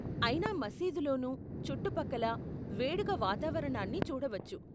అయినా మసీదులోను, చుట్టుపక్కల, వేడుక వాతావరణాన్ని చూడవచ్చు.